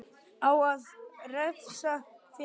Á að refsa fyrir vinnu?